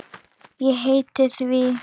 Ég heiti því.